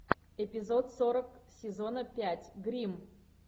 эпизод сорок сезона пять гримм